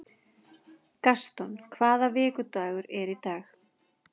Gaston, hvaða vikudagur er í dag?